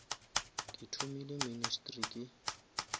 ke thomile ministry ke